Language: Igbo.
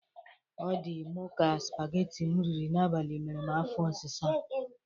Ọ dị Mụ ka spageti m riri n'abali mere m afọ ọsịsa.